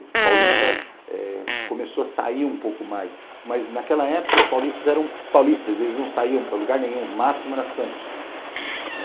O paulista eh começou a sair um pouco mais, mas naquela época os paulistas eram paulistas, eles não saíam para lugar nenhum, o máximo era Santos.